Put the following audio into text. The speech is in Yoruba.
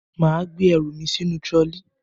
Màa gbé erùmi sínú trolley